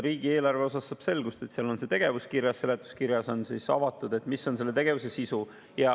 Riigieelarvest saab selgust, seal on see tegevus kirjas, seletuskirjas on avatud, mis on tegevuse sisu.